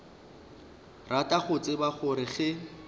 rata go tseba gore ge